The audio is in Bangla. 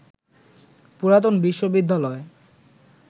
পুরাতন বিশ্ববিদ্যালয়